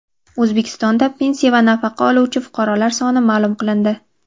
O‘zbekistonda pensiya va nafaqa oluvchi fuqarolar soni ma’lum qilindi.